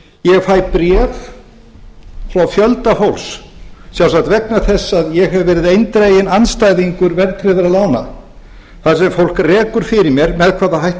ég fæ bréf frá fjölda fólks sjálfsagt vegna þess að ég hef verið eindreginn andstæðingur verðtryggðra lána þar sem fólk rekur með hvaða hætti og